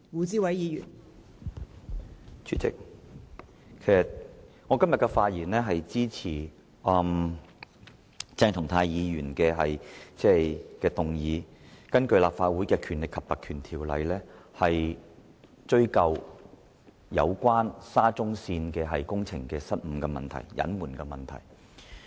代理主席，我今天發言支持鄭松泰議員根據《立法會條例》動議的議案，以追究有關沙田至中環線工程失誤及隱瞞的問題。